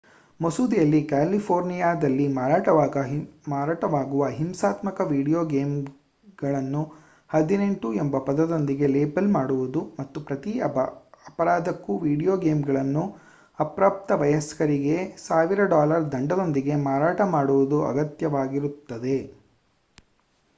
ಮಸೂದೆಯಲ್ಲಿ ಕ್ಯಾಲಿಫೋರ್ನಿಯಾದಲ್ಲಿ ಮಾರಾಟವಾಗುವ ಹಿಂಸಾತ್ಮಕ ವಿಡಿಯೋ ಗೇಮ್‌ಗಳನ್ನು 18 ಎಂಬ ಪದದೊಂದಿಗೆ ಲೇಬಲ್ ಮಾಡುವುದು ಮತ್ತು ಪ್ರತಿ ಅಪರಾಧಕ್ಕೂ ವೀಡಿಯೊ ಗೇಮ್‌ಗಳನ್ನು ಅಪ್ರಾಪ್ತ ವಯಸ್ಕರಿಗೆ $ 1,000 ದಂಡದೊಂದಿಗೆ ಮಾರಾಟ ಮಾಡುವುದು ಅಗತ್ಯವಾಗಿರುತ್ತದೆ